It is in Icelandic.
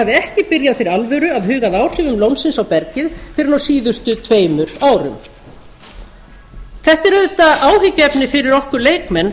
ekki byrjað fyrir alvöru að huga að áhrifum lónsins á bergið fyrr en á síðustu tveimur árum þetta er auðvitað áhyggjuefni fyrir okkur leikmenn